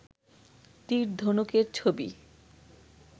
তীর ধনুকের ছবি